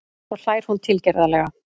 Svo hlær hún tilgerðarlega.